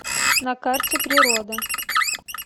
на карте природа